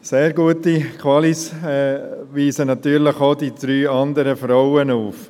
Sehr gute Qualifikationen weisen natürlich auch die drei Frauen auf.